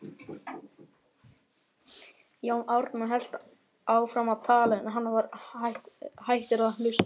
Jón Ármann hélt áfram að tala, en hann var hættur að hlusta.